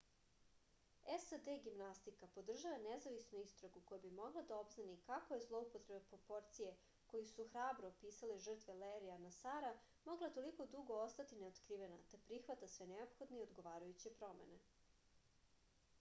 sad gimnastika podržava nezavisnu istragu koja bi mogla da obznani kako je zloupotreba proporcije koju su hrabro opisale žrtve lerija nasara mogla toliko dugo ostati neotkrivena te prihvata sve neophodne i odgovarajuće promene